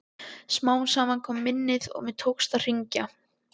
Smám saman kom minnið og mér tókst að hringja.